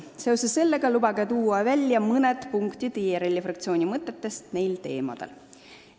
Seoses sellega lubage välja tuua mõned punktid IRL-i fraktsiooni mõtetest nendel teemadel.